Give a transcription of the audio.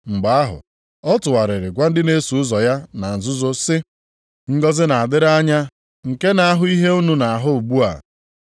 Mgbe ahụ ọ tụgharịrị gwa ndị na-eso ụzọ ya na nzuzo sị, “Ngọzị na-adịrị anya nke na-ahụ ihe unu na-ahụ ugbu a.